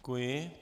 Děkuji.